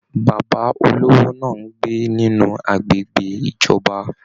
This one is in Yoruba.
Bàbá olówó náà n gbé nínú agbègbè ìjọba.